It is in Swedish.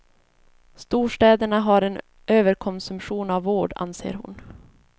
Storstäderna har en överkonsumtion av vård, anser hon.